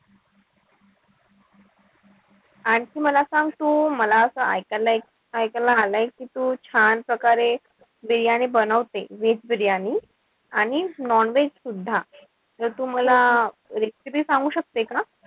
आणखी मला सांग तू मला असं इकायला एक आलाय कि तू छान प्रकारे बिर्याणी बनवते. Veg बिर्याणी? आणि non-veg सुद्धा. त तू मला recipe सांगू शकते का?